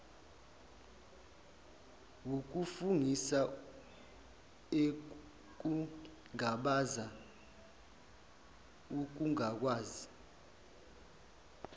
wokufungisa ekungabaza ukungakwazi